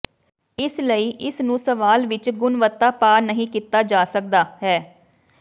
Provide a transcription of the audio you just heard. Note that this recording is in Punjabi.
ਇਸ ਲਈ ਇਸ ਨੂੰ ਸਵਾਲ ਵਿੱਚ ਗੁਣਵੱਤਾ ਪਾ ਨਹੀ ਕੀਤਾ ਜਾ ਸਕਦਾ ਹੈ